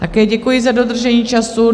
Také děkuji za dodržení času.